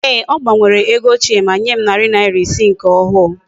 Eeh! O gbanwere ego ochie, ma nyem nari iri ise nke ohu